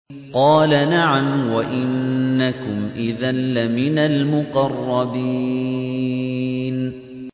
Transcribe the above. قَالَ نَعَمْ وَإِنَّكُمْ إِذًا لَّمِنَ الْمُقَرَّبِينَ